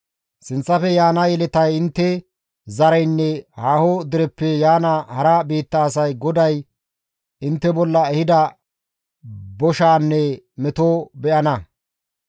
Sinththafe yaana yeletay, intte zareynne haaho dereppe yaana hara biitta asay GODAY intte bolla ehida boshaanne metoza be7ana.